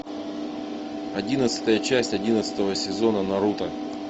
одиннадцатая часть одиннадцатого сезона наруто